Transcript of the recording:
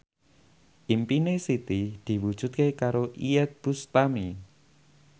impine Siti diwujudke karo Iyeth Bustami